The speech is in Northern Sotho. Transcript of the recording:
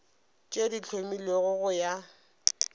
tše di hlomilwego go ya